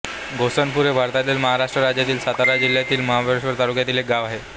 घोणसपूर हे भारतातील महाराष्ट्र राज्यातील सातारा जिल्ह्यातील महाबळेश्वर तालुक्यातील एक गाव आहे